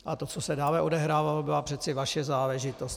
A to, co se dále odehrávalo, byla přece vaše záležitost.